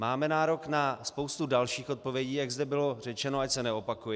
Máme nárok na spoustu dalších odpovědí, jak zde bylo řečeno, ať se neopakuji.